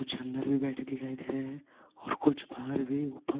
कुछ अंदर भी बैठे दिखाई दे रहे हैं और कुछ बाहर भी ऊपर--